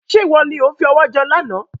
Ṣé ìwọ ni ó fi ọwọ jẹun lànà?